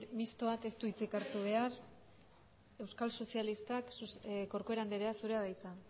mistoak ez du hitzik hartu behar euskal sozialistak corcuera andrea zurea da hitza